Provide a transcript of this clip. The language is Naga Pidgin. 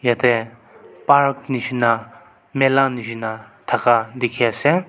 te park nishina mela nishina thaka dikhiase.